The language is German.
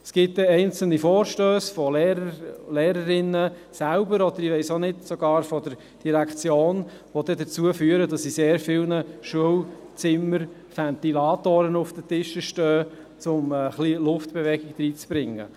Es gibt einzelne Vorstösse von Lehrern und Lehrerinnen selbst, und ich weiss nicht, ob sogar von der Direktion, die dazu führen, dass in sehr vielen Schulzimmern Ventilatoren auf den Tischen stehen, um etwas Luftbewegung zu schaffen.